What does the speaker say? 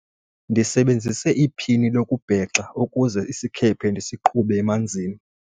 ndisebenzise iphini lokubhexa ukuze isikhephe ndisiqhube emanzini